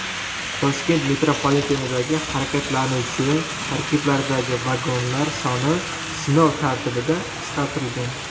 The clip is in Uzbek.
Toshkent metropolitenidagi harakatlanuvchi tarkiblardagi vagonlar soni sinov tartibida qisqartirilgan.